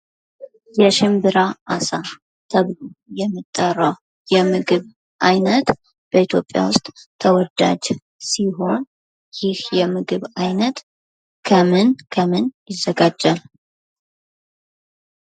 የሽምብራ አሳ ተብሎ የሚጠራዉ የምግብ አይነት በኢትዮጵያ ዉስጥ ተወዳጅ ሲሆን ይህ የምግብ አይነት ከምን ከምን ይዘጋጃል?